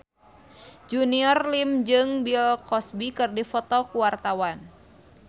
Junior Liem jeung Bill Cosby keur dipoto ku wartawan